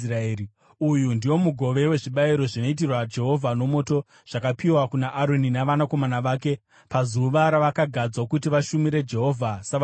Uyu ndiwo mugove wezvibayiro zvinoitirwa Jehovha nomoto zvakapiwa kuna Aroni navanakomana vake pazuva ravakagadzwa kuti vashumire Jehovha savaprista.